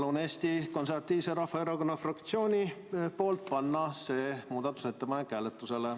Palun Eesti Konservatiivse Rahvaerakonna fraktsiooni nimel panna see muudatusettepanek hääletusele.